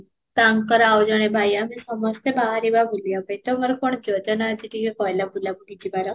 ତାଙ୍କର ଆଉ ଜଣେ ଭାଇ ଆହୁରି ସମସ୍ତେ ବାହାରିବା ବୁଲିବା ପାଇଁ ତମର କ'ଣ ଯୋଜନା ଅଛି ଟିକେ କହିଲ ବୁଲା ବୁଲି ଯିବାର